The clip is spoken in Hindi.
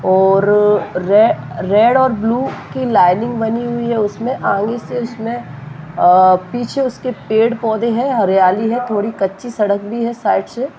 और रे रेड और ब्लू की लाइनिंग बनी हुई है उसमे आगे से उसमें अ पीछे उसके पेड़ पौधे है हरियाली है थोड़ी कच्ची सड़क भी है साइड से।